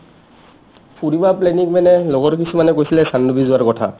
ফুৰিব planning মানে লগৰ কিছুমানে কৈছিল চানডুবি যোৱাৰ কথা